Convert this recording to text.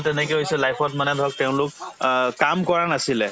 তেনেকে হৈছে life ত মানে ধৰক তেওঁলোক অ কাম কৰা নাছিলে